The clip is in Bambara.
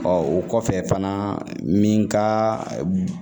o kɔfɛ fana min ka